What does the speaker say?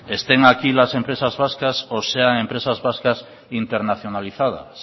estén aquí las empresas vascas o sean empresas vascas internacionalizadas